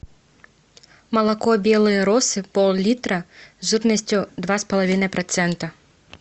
молоко белые росы пол литра жирностью два с половиной процента